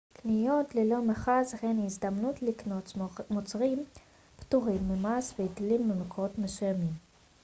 קניות ללא מכס הן הזדמנות לקנות מוצרים פטורים ממס והיטלים במקומות מסוימים